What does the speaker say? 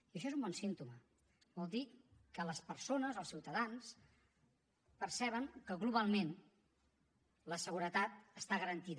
i això és un bon símptoma vol dir que les persones els ciutadans perceben que globalment la seguretat està garantida